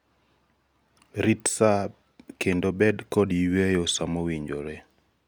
rit sa kendo bed kod yueyo samowinjore